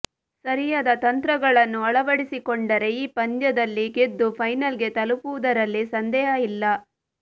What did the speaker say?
ಸರಿಯಾದ ತಂತ್ರಗಳನ್ನು ಅಳವಡಿಸಿಕೊಂಡರೆ ಈ ಪಂದ್ಯದಲ್ಲಿ ಗೆದ್ದು ಫೈನಲ್ಗೆ ತಲುಪುವುದರಲ್ಲಿ ಸಂದೇಹ ಇಲ್ಲ